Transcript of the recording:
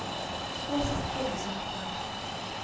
abe sisityebi somhlaba